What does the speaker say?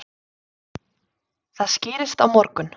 Það skýrist á morgun.